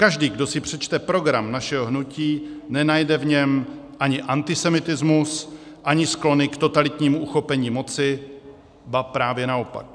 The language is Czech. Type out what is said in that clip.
Každý, kdo si přečte program našeho hnutí, nenajde v něm ani antisemitismus, ani sklony k totalitnímu uchopení moci, ba právě naopak.